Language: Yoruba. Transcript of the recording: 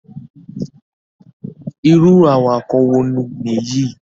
Irú awakọ̀ wo nìyí?